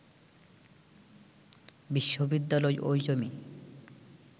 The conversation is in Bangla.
বিশ্ববিদ্যালয় ওই জমি